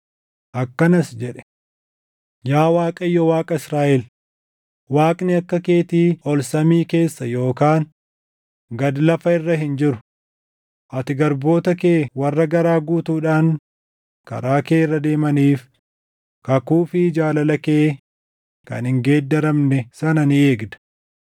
Akkanas jedhe: “Yaa Waaqayyo Waaqa Israaʼel, Waaqni akka keetii ol samii keessa yookaan gad lafa irra hin jiru; ati garboota kee warra garaa guutuudhaan karaa kee irra deemaniif kakuu fi jaalala kee kan hin geeddaramne sana ni eegda.